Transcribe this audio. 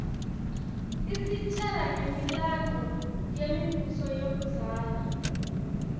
isitjela ngemilandvo yemibuso yakudzala